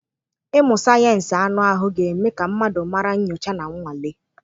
Ịmụ sayensị anụ ahụ ga-eme ka mmadụ mara nyocha na nnwale.